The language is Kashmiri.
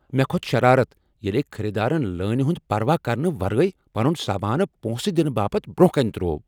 مےٚ کھوٚت شرارت ییٚلہِ أکۍ خریدارن لٲنہ ہُند پروا کرنہٕ ورٲے پنن سامانہٕ پۄنسہٕ دنہٕ باپت برٛۄنٛہہ کنہ تروو۔